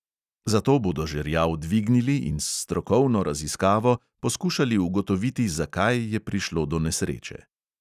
Zato bodo žerjav dvignili in s strokovno raziskavo poskušali ugotoviti, zakaj je prišlo do nesreče.